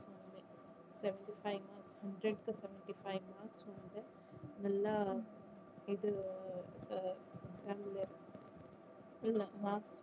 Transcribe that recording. final hundred க்கு seventy five mark so வந்து நல்லா இது உம் exam ல இல்ல mark